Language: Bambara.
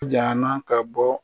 Jana ka bɔ